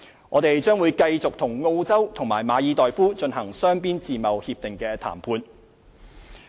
我們將繼續與澳洲及馬爾代夫進行雙邊自貿協定談判。